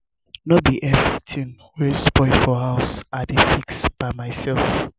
no be everytin wey spoil for house i dey fix by mysef.